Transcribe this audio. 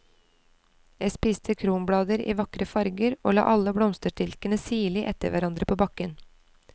Jeg spiste kronblader i vakre farger og la alle blomsterstilkene sirlig etter hverandre på bakken.